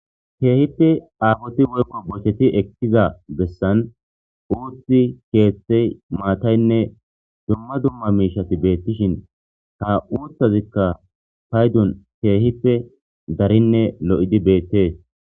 keehippe aafoti woykko bocheti ekkiza bessan uuthi keethtey maataynne dumma dumma miishati beettishin ta uuthazikka paydun keehippe darinne lo7idi beettees